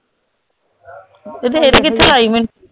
ਤੇ ਰੇਤ ਕਿੱਥੋਂ ਲਾਈ ਮੈਂ